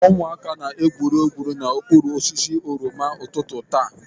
Ụmụaka na-egwuri egwu n'okpuru osisi oroma ụtụtụ taa.